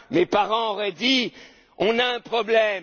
commun. Mes parents auraient dit On a un problème.